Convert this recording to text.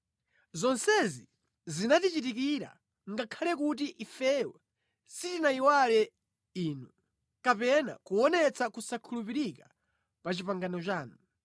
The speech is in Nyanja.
Zonsezi zinatichitikira ngakhale kuti ifeyo sitinayiwale Inu kapena kuonetsa kusakhulupirika pa pangano lanu.